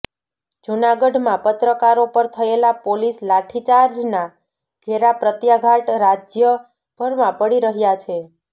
જૂનાગઢમાં પત્રકારો પર થયેલા પોલીસ લાઠીચાર્જના ઘેરાપ્રત્યાઘાત રાજ્યભરમાં પડી રહયા છે